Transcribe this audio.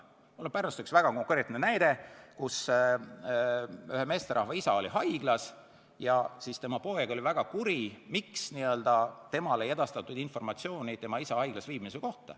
Mul on Pärnust üks väga konkreetne näide, kus ühe meesterahva isa oli haiglas ja tema poeg oli väga kuri, et temale ei edastatud informatsiooni isa haiglas viibimise kohta.